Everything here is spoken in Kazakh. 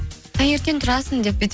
таңертең тұрасың деп бүйтіп